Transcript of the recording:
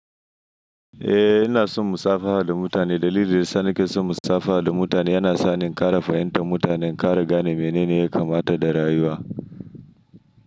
Eh ina son musafaha da mutane dalili da ya sa nake son musafaha da mutane yana sa ni in ƙara fahimtar mutane, ƙara gane menene ya kamata da rayuwa.